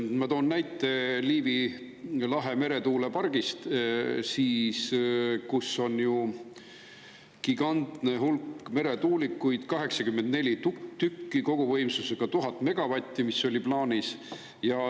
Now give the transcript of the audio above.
Ma toon näite Liivi lahe meretuulepargist, kus on gigantne hulk meretuulikuid plaanis: 84 tükki koguvõimsusega 1000 megavatti.